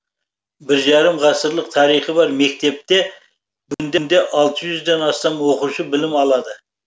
бір жарым ғасырлық тарихы бар мектепте бүгінде алты жүзден астам оқушы білім алады